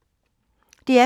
DR P2